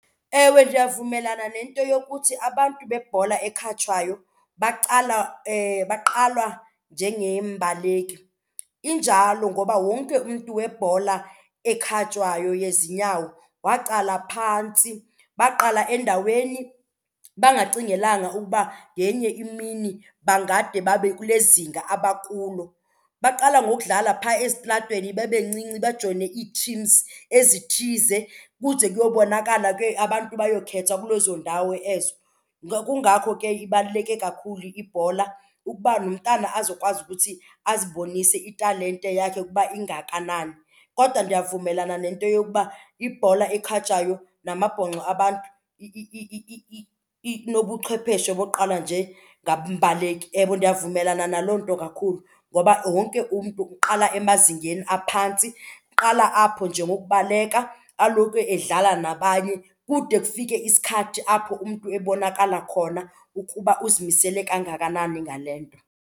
Ewe, ndiyavumelana nento yokuthi abantu bebhola ekhatywayo bagqalwa njengeembaleki. Injalo ngoba wonke umntu webhola ekhatywayo yezinyawo waqala phantsi, baqala endaweni bangacingelanga ukuba ngenye imini bangade babe kule zinga abakulo. Baqala ngokudlala phaa esitratweni bebancinci bajoyine ii-teams ezithize kuze kuyobonakala ke abantu bayokhetha kule zoondawo ezo. Kungako ke ibaluleke kakhulu ibhola ukuba nomntana azokwazi ukuthi azibonise italente yakhe ukuba ingakanani. Kodwa ndiyavumelana nento yokuba ibhola ekhatywayo namabhonxo abantu inobuchwepheshe bogqalwa njengambaleki. Yebo ndiyavumelana naloo nto kakhulu ngoba wonke umntu uqala emazingeni aphantsi. Uqala apho nje ngokubaleka alokwe edlala nabanye kude kufike isikhathi apho umntu ebonakala khona ukuba uzimisele kangakanani ngale nto.